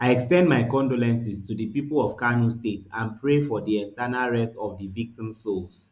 i ex ten d my condolences to di pipo of kano state and pray for di eternal rest of di victims souls